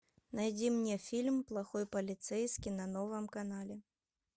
найди мне фильм плохой полицейский на новом канале